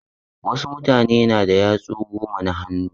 Wasu mutane na da yatsu goma na hannu.